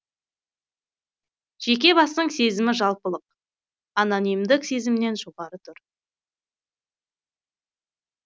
жеке бастың сезімі жалпылық анонимдік сезімнен жоғары тұр